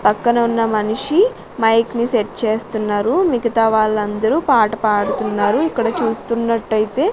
పక్కనే ఉన్న మనిషి మైక్ ని సెట్ చేస్తున్నారు మిగతా వాళ్ళందరూ పాట పాడుతున్నారు ఇక్కడ చూస్తున్నట్లయితే.